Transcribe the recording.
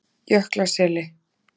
Jöklaseli